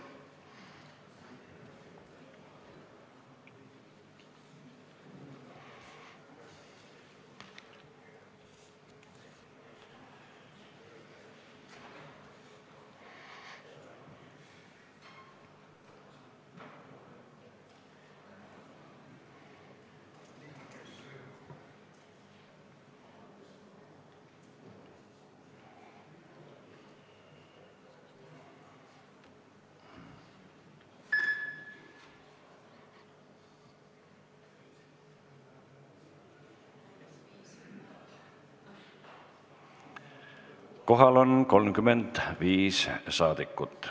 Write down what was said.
Kohaloleku kontroll Kohal on 35 saadikut.